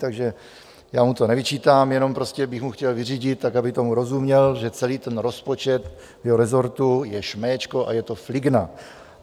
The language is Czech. Takže já mu to nevyčítám, jenom prostě bych mu chtěl vyřídit, tak aby tomu rozuměl, že celý ten rozpočet jeho resortu je šméčko a je to fligna.